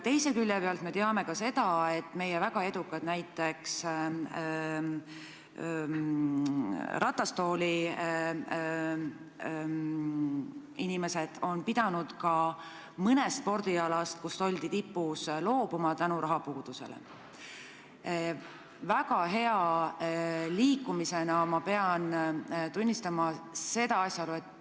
Samas me teame ka seda, et meie väga edukad ratastooliinimesed on pidanud mõnel spordialal tipus olles võistlemisest rahapuuduse tõttu loobuma.